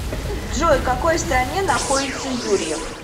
джой в какой стране находится юрьев